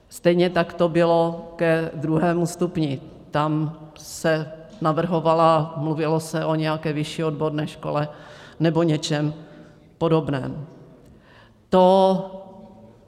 Stejně tak to bylo ke druhému stupni, tam se navrhovala - mluvilo se o nějaké vyšší odborné škole nebo něčem podobném.